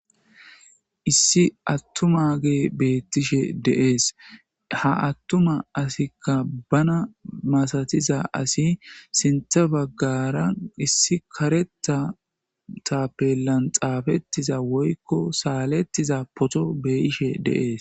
Issi atumagey beetishe de'es. Ha atuma assiyka bana masatiza ase sintha bagara issi karetha tapelan xapetiza woyko saletiza photo be'ishe de'es